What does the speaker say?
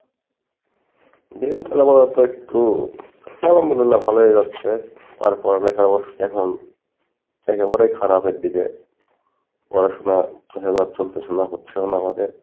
দিনকাল আমারও তো একটু আল্লাহম দুল্লিয়াহ ভালোই যাচ্ছে আর পড়ালেখার অবস্থা এখন একেবারেই খারাপের দিকে, পড়াশোনা চলতেছে না হচ্ছেও না আমাদের